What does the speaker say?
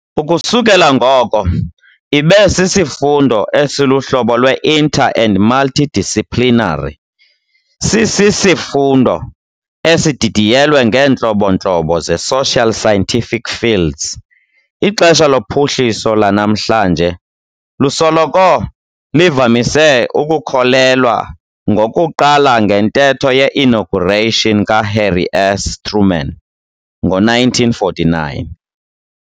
Ukusukela ngoko, ibe sisifundo esiluhlobo lwe-inter- and multi-disciplinary, sisisifundo esididiyelwe ngeentlobo-ntlobo ze-social scientific fields. Ixesha lophuhliso lanamhlanje lusoloko livamise ukukholelwa ngokuqala ngentetho ye-inauguration kaHarry S. Truman ngo-1949.